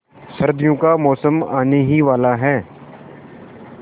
सर्दियों का मौसम आने ही वाला है